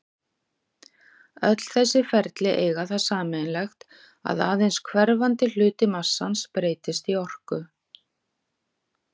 Öll þessi ferli eiga það sameiginlegt að aðeins hverfandi hluti massans breytist í orku.